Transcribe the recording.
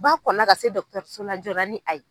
Ba kɔnna ka se so la joona ni a ye.